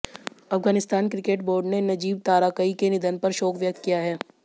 Afghanistan cricket board ने नजीब ताराकई के निधन पर शोक व्यक्त किया है